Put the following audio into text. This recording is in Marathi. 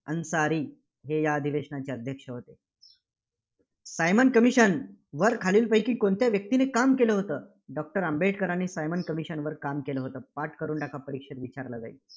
अन्सारी. हे या अधिवेशनाचे अध्यक्ष होते. सायमन Commission वर खालीलपैकी कोणत्या व्यक्तीने काम केलं होत? doctor आंबेडकरांनी सायमन commission वर काम केलं होतं. पाठ करून टाका, हा परीक्षेत विचारला जाईल.